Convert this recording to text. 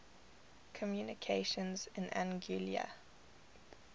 communications in anguilla